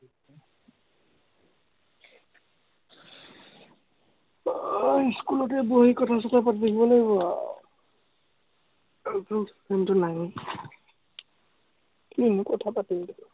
স্কুলতে বহি কথা-চথা পাতিব লাগিব আৰু। আৰুতো ফোনটো নাইয়ে, কিনো কথা পাতিম।